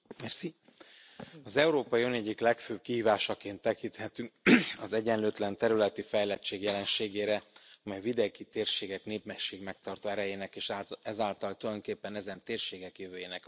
Az Európai Unió egyik legfőbb kihívásaként tekinthetünk az egyenlőtlen területi fejlettség jelenségére, amely vidéki térségek népességmegtartó erejének és ezáltal tulajdonképpen ezen térségek jövőjének a kulcskérdése.